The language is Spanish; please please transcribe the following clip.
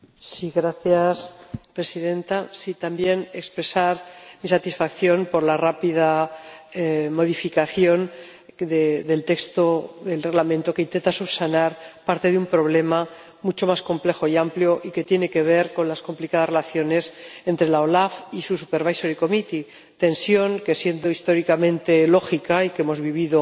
Señora Presidenta, deseo también expresar mi satisfacción por la rápida modificación del texto del Reglamento, que intenta subsanar parte de un problema mucho más complejo y amplio y que tiene que ver con las complicadas relaciones entre la OLAF y su Comité de Vigilancia, tensión que, siendo históricamente lógica y que hemos vivido